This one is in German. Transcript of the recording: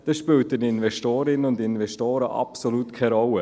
Dies spielt den Investorinnen und Investoren absolut keine Rolle.